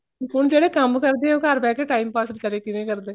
ਹੁਣ ਜਿਹੜਾ ਕੰਮ ਕਰਦੇ ਏ ਉਹ ਘਰ ਬੈਠ ਕੇ time pass ਕਦੇਂ ਕਿਵੇਂ ਕਰਦੇ